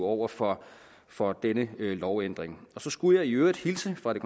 over for for denne lovændring så skulle jeg i øvrigt hilse fra det